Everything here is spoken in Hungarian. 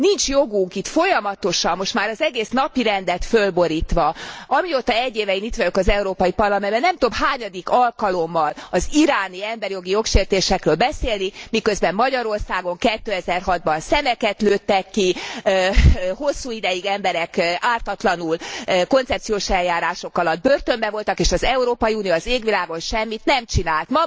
Nincs joguk itt folyamatosan most már az egész napirendet fölborítva amióta 1 éve én itt vagyok az Európai Parlamentben, nem tudom hányadik alkalommal az iráni emberi jogi jogsértésekről beszélni, miközben Magyarországon 2006 ban szemeket lőttek ki, hosszú ideig emberek ártatlanul, koncepciós eljárások alatt börtönben voltak, és az Európai Unió az égvilágon semmit nem csinált.